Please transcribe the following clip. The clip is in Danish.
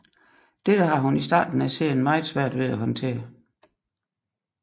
Dette har hun i starten af serien meget svært ved at håndtere